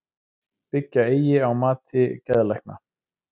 Byggja eigi á mati geðlækna